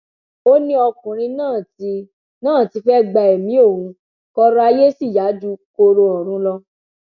ó ní ọkùnrin náà ti náà ti fẹẹ gba ẹmí òun kọrọ ayé sì yá ju kóró ọrun lọ